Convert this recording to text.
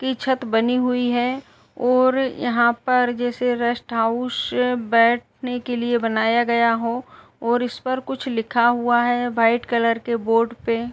की छत बनी हुई है और यहाँ पर जैसे रेस्ट हाउस बेठने के लिये बनाया गया हो और इस पर कुछ लिखा हुआ है व्हाइट कलर के बोर्ड पे --